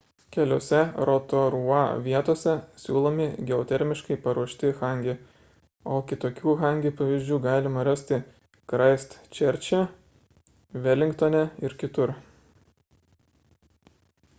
keliose rotorua vietose siūlomi geotermiškai paruošti hangi o kitokių hangi pavyzdžių galima rasti kraistčerče velingtone ir kitur